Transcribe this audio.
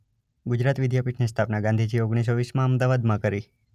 ગુજરાત વિદ્યાપીઠની સ્થાપના ગાંધીજીએ ઓગણીસો વીસમાં અમદાવાદ માં કરી.